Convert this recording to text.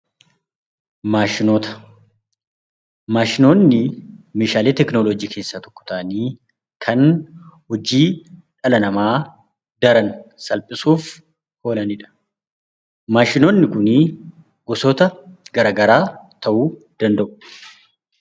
Maashinoota, maashinoonni meeshaalee teeknooloojii keessaa tokko ta'anii kan hojii dhala namaa daran salphisuuf kan oolaniidha. Maashinoonni kun gosoota garaa garaa tahuu danda'u.